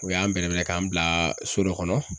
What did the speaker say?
U y'an bɛrɛ bɛrɛ, k'an bila so dɔ kɔnɔ